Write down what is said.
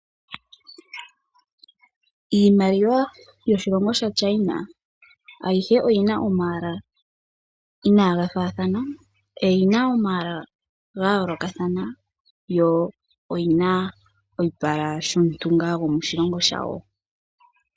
Iimaliwa yoshilongo shaChina ayihe oyina omayala inagafaathana, oyina omayala gayoolokathana yo oyina oyipala shomuntu ngaa gomoshilongo shawo.